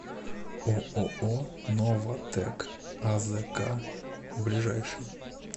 ооо новатэк азк ближайший